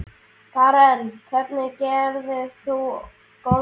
Karen: Hvernig gerðir þú góðverk?